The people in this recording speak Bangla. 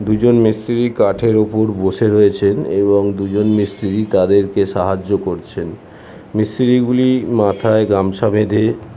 দুজন মিস্ত্রি কাঠের উপর বসে রয়েছেন এবং দুজন মিস্ত্রি তাদেরকে সাহায্য করছেন মিস্ত্রি গুলি মাথায় গামছা বেঁধে--